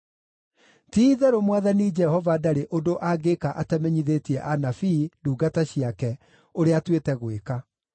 Ti-itherũ Mwathani Jehova ndarĩ ũndũ angĩĩka atamenyithĩtie anabii, ndungata ciake, ũrĩa atuĩte gwĩka.